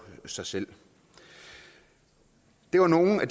sig selv det var nogle af